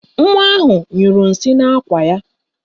Nwa ahụ nyụrụ nsị n'ákwà ya